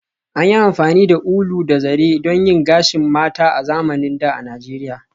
An yi amfani da ulu da zare don yin gashin mata a zamanin da a Nijeriya